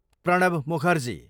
Pranab Mukherjee